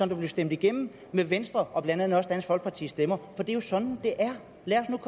der blev stemt igennem med venstre og blandt andet også dansk folkepartis stemmer for det er jo sådan det er